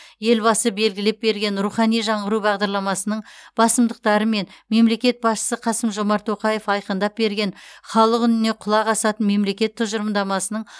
елбасы белгілеп берген рухани жаңғыру бағдарламасының басымдықтары мен мемлекет басшысы қасым жомарт тоқаев айқындап берген халық үніне құлақ асатын мемлекет тұжырымдамасының